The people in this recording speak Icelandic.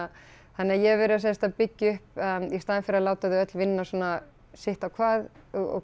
þannig að ég hef verið sem sagt að byggja upp í staðinn fyrir að láta þau öll vinna svona sitt á hvað og